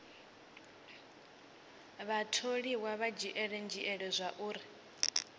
vhatholiwa vha dzhiele nzhele zwauri